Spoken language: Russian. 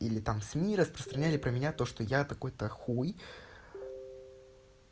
или там сми распространяли про меня то что я такой то хуй